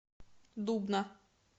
дубна